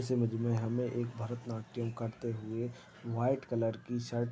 इस इमेज में हमें एक भरत नाट्यम करते हुए व्हाइट कलर की शर्ट--